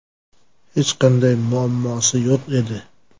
Hech qanday muammosi yo‘q edi.